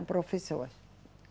O professor.